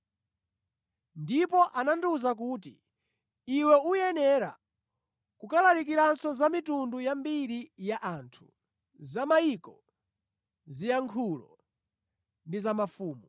Ndipo anandiwuza kuti, “Iwe uyenera kulalikiranso za mitundu yambiri ya anthu, za mayiko, ziyankhulo ndi za mafumu.”